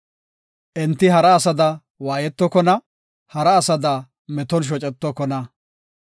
Enti hara asada waayetokona; hara asada meton shocetokona.